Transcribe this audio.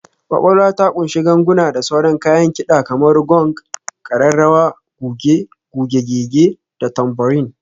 Ƙwaƙwalwa ta ƙunshi ganguna da sauran kayan kida kamar gong, ƙararrawa, kuge, kuge-gege, da tambourine.